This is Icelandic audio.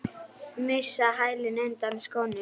Missa hælinn undan skónum.